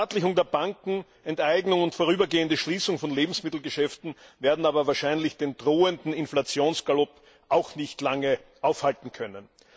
Verstaatlichung der Banken, Enteignung und vorübergehende Schließung von Lebensmittelgeschäften werden aber wahrscheinlich den drohenden Inflationsgalopp nicht lange aufhalten können.